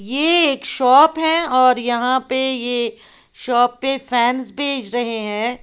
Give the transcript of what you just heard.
ये एक शॉप है और यहां पे ये शॉप पे फैंस बेच रहे हैं।